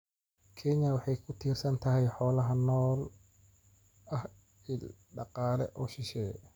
Kenya waxa ay ku tiirsan tahay xoolaha nool oo ah il dhaqaale oo shisheeye.